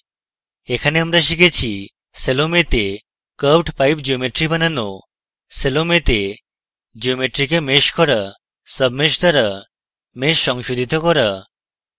এখানে আমরা শিখেছি: